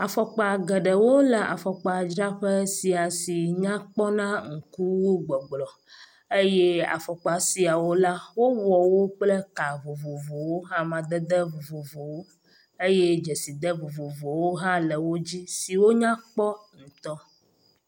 Afɔkpa geɖewo le afɔkpadzraƒe sia si nyakpɔ na ŋku si wu gbɔgblɔ eye afɔkpa siawo la wowɔwo kple ka vovovo, amadede vovovowo eye dzeside vovovowo hã le wo dzi siwo nyakpɔ ŋutɔ.